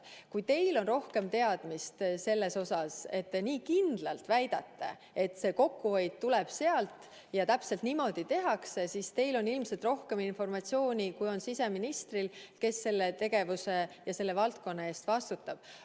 Kui teil on rohkem teadmisi selles osas, et te nii kindlalt väidate, et kokkuhoid tuleb sealt ja täpselt niimoodi tehakse, siis teil on ilmselt rohkem informatsiooni, kui on siseministril, kes selle valdkonna eest vastutab.